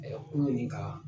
kunu nin kaan